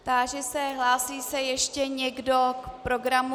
Táži se, hlásí se ještě někdo k programu.